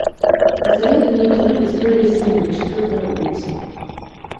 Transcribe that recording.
посоветуй мне кино история свинок четвертая улица